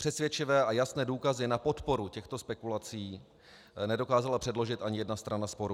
Přesvědčivé a jasné důkazy na podporu těchto spekulací nedokázala předložit ani jedna strana sporu.